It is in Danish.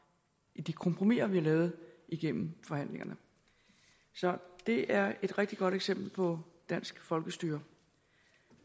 i de kompromiser vi har lavet igennem forhandlingerne så det er et rigtig godt eksempel på dansk folkestyre